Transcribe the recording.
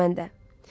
Elə mən də.